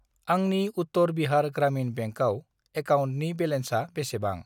आंनि उत्तर बिहार ग्रामिन बेंकआव एकाउन्टनि बेलेन्सा बेसेबां?